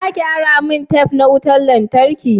Za ka ara min tef na wutan lantarki.